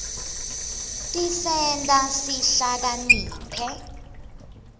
tisenta sihlakaniphe